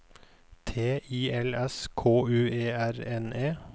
T I L S K U E R N E